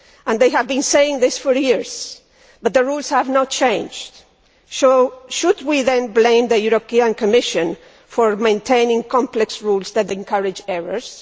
They have been saying this for years, but the rules have not changed, so should we then blame the European Commission for maintaining complex rules that encourage errors?